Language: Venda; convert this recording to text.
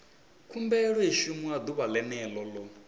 khumbelo i shumiwa ḓuvha ḽene ḽo